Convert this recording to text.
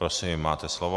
Prosím, máte slovo.